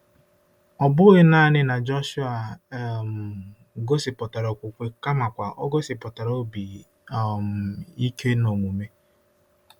Ọ bụghị nanị na Jọshụa um gosipụtara okwukwe kamakwa o gosipụtara obi um ike n'omume.